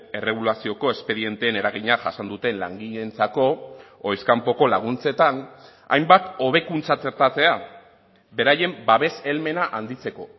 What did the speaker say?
erregulazioko espedienteen eragina jasan duten langileentzako ohiz kanpoko laguntzetan hainbat hobekuntza txertatzea beraien babes helmena handitzeko